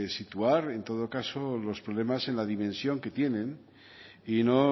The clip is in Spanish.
situar en todo caso los problemas en la dimensión que tienen y no